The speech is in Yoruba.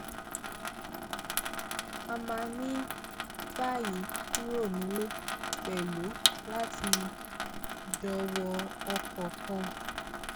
a máa ń báyìí kúrò nílé pẹlú láti jọ wọ ọkọ kan